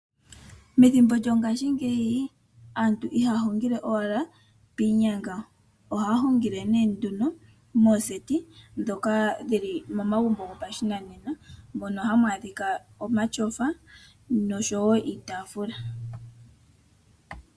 Methimbo lyongashingeyi aantu ihaya hungile owala piinyanga. Ohaya hungile nee nduno mooseti, dhoka dhi li momagumbo gopashinanena, mono hamu adhika omashofa noshowo iitaafula.